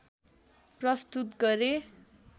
प्रस्तुत गरे